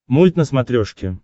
мульт на смотрешке